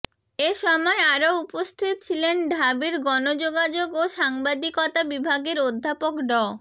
এ সময় আরো উপস্থিত ছিলেন ঢাবির গণযোগাযোগ ও সাংবাদিকতা বিভাগের অধ্যাপক ড